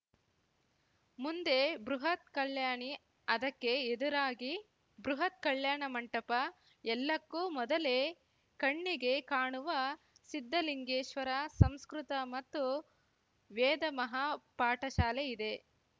ಮುಂದೆ ಬೃಹತ್‌ ಕಲ್ಯಾಣಿ ಅದಕ್ಕೆ ಎದುರಾಗಿ ಬೃಹತ್‌ ಕಲ್ಯಾಣ ಮಂಟಪ ಎಲ್ಲಕ್ಕೂ ಮೊದಲೇ ಕಣ್ಣಿಗೆ ಕಾಣುವ ಸಿದ್ಧಲಿಂಗೇಶ್ವರ ಸಂಸ್ಕೃತ ಮತ್ತು ವೇದ ಮಹಾಪಾಠಶಾಲೆ ಇದೆ